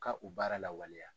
Ka o baara lawaleya.